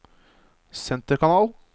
senterkanal